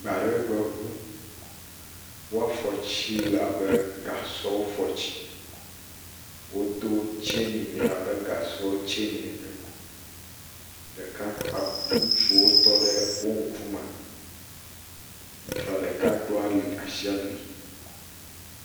Gbaregbeŋu. Wo fɔtsi le abe kasɔwo fɔtsi. Wodo tseni nɛ abe kasɔ wo tseni ene. Ɖeka ɔɔ, ŋutsuwo tɔ ɖe wo ŋkume. Ŋutsua ɖeka ɖo ali, ashi ali.